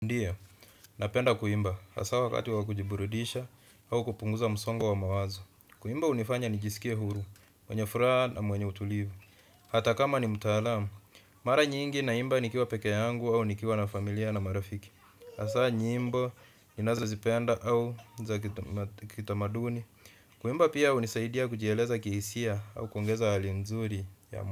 Ndio, napenda kuimba, hasa wakati wakujiburudisha au kupunguza msongo wa mawazo. Kuimba hunifanya nijisikie huru, mwenye furaha na mwenye utulivu. Hata kama ni mtaalamu, mara nyingi naimba nikiwa pekee yangu au nikiwa na familia na marafiki. Hasa nyimbo ninazozipenda au za kitamaduni. Kuimba pia hunisaidia kujieleza kihisia au kuongeza hali nzuri ya mwa.